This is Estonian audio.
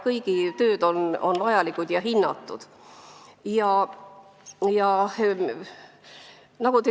Kõik tööd on vajalikud ja peavad olema hinnatud.